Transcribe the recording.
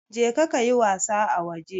Je ka ka yi wasa a waje!